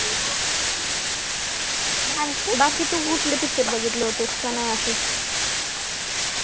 बाकी तू कुठले picture बघितले होतेस कि नाही